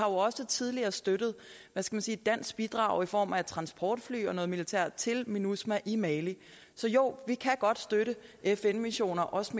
også tidligere støttet et dansk bidrag i form af transportfly og militær assistance til minusma i mali så jo vi kan godt støtte fn missioner også